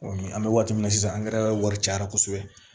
an bɛ waati min na sisan wari cayara kosɛbɛ